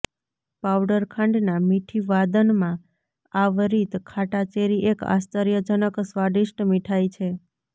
powder ખાંડના મીઠી વાદનમાં આવરિત ખાટા ચેરી એક આશ્ચર્યજનક સ્વાદિષ્ટ મીઠાઈ છે